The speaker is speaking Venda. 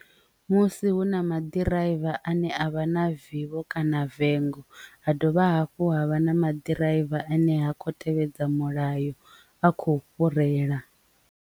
Musi hu na maḓirivha ane avha na vivho kana vengo ha dovha hafhu ha vha na maḓi rivha ane ha khou tevhedza mulayo a kho fhurela.